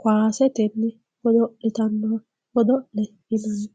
kowasetenni godolitanno godolle yinanni